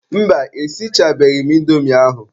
Mba, esichabeghị m indomi ahụ.